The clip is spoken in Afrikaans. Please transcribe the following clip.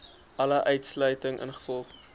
alle uitsluiting ingevolge